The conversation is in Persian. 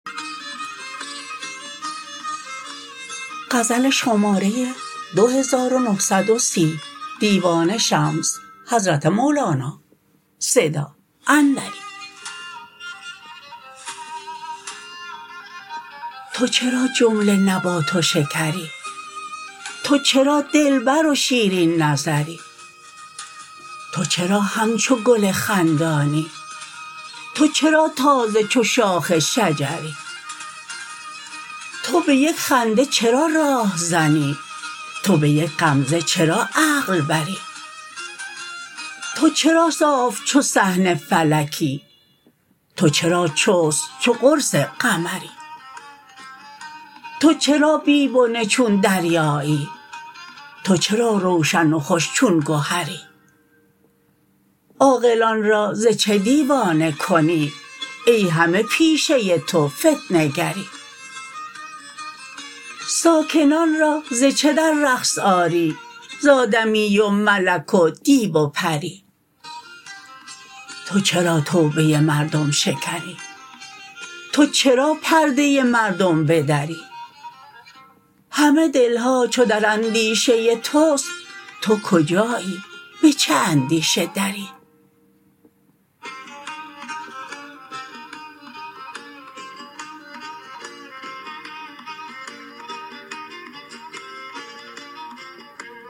تو چرا جمله نبات و شکری تو چرا دلبر و شیرین نظری تو چرا همچو گل خندانی تو چرا تازه چو شاخ شجری تو به یک خنده چرا راه زنی تو به یک غمزه چرا عقل بری تو چرا صاف چو صحن فلکی تو چرا چست چو قرص قمری تو چرا بی بنه چون دریایی تو چرا روشن و خوش چون گهری عاقلان را ز چه دیوانه کنی ای همه پیشه تو فتنه گری ساکنان را ز چه در رقص آری ز آدمی و ملک و دیو و پری تو چرا توبه مردم شکنی تو چرا پرده مردم بدری همه دل ها چو در اندیشه توست تو کجایی به چه اندیشه دری